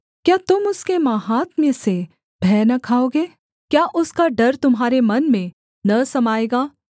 क्या तुम उसके माहात्म्य से भय न खाओगे क्या उसका डर तुम्हारे मन में न समाएगा